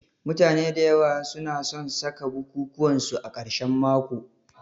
Mutane da yawa su na san saka bukukuwan su a karshen mako